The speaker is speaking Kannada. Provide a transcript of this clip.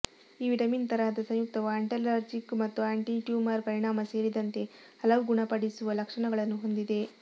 ಈ ವಿಟಮಿನ್ ತರಹದ ಸಂಯುಕ್ತವು ಆಂಟಿಲರ್ಜಿಕ್ ಮತ್ತು ಆಂಟಿಟ್ಯೂಮರ್ ಪರಿಣಾಮ ಸೇರಿದಂತೆ ಹಲವು ಗುಣಪಡಿಸುವ ಲಕ್ಷಣಗಳನ್ನು ಹೊಂದಿದೆ